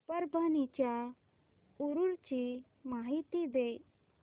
परभणी च्या उरूस ची माहिती दे